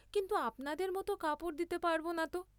কিন্তু আপনাদের মত কাপড় দিতে পারব না ত?